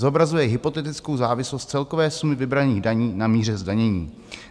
Zobrazuje hypotetickou závislost celkové sumy vybraných daní na míře zdanění.